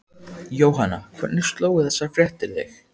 Jóhanna, hvernig slógu þessar fréttir þig?